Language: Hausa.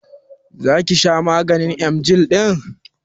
Zaki sha maganin emgyl ɗin?